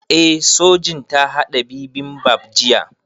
Eh Sojin ta haɗa bibimbap jiya